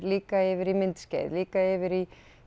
líka yfir í myndskeið líka yfir í